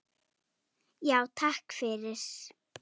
Já, takk fyrir.